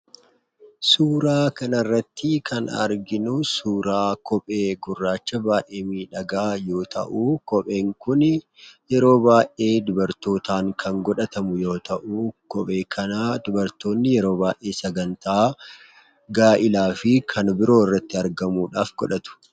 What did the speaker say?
Suuraa kana irratti kan arginu suuraa kophee gurraacha baay'ee miidhagaa yoo ta'u, kopheen kun yeroo baay'ee dubartootaan kan godhatamu yoo ta'u, kophee kana dubartoonni yeroo baay'ee sagantaa gaa'elaa fi kan biroo irratti argamuudhaaf godhatu.